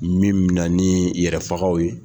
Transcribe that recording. Min mɛna ni yɛrɛ fagaw ye!